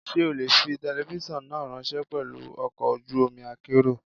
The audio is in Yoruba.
Ṣé o lè fi telifíṣàn náà ráńṣẹ́ pelu ọkọ̀ ojú omi akérò?